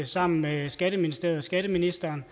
sammen med skatteministeriet og skatteministeren